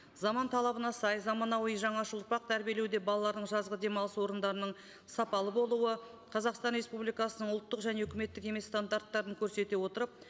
заман талабына сай заманауи жаңаша тәрбиелеуде балалардың жазғы демалыс орындарының сапалы болуы қазақстан республикасының ұлттық және үкіметтік емес стандарттарын көрсете отырып